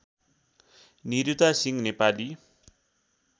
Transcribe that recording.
Niruta Singh Nepali